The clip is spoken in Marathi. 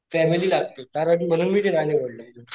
फॅमिली लागते कारण म्हणून मी ते नाही निवडल,